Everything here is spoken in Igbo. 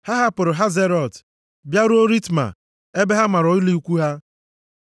Ha hapụrụ Hazerọt bịaruo Ritma ebe ha mara ụlọ ikwu ha.